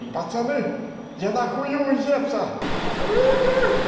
пацаны я на хую у зевса уху